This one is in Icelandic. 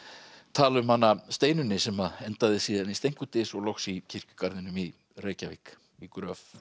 tala um hana Steinunni sem endaði síðan í Steinkudys og loks í kirkjugarðinum í Reykjavík í gröf